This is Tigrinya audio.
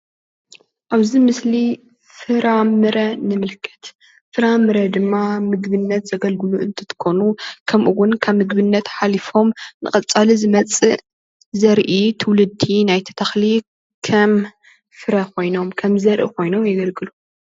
ኣብዚ ምስሊ ፍራ ምረ ንምልከት ፍራ ምረ ድማ ንምግብነት ዘገልግሉ እንትትኮኑ ከምኡውን ካብ ምግብነት ሓሊፎም ንቀፃሊ ዝመፅእ ዘርኢ ትውልዲ ናይቲ ተክሊ ከም ፍረ ኮይኖም ከም ዘርኢ ኮይኖም የገልግሉ፡፡